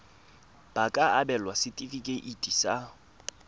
ba ka abelwa setefikeiti sa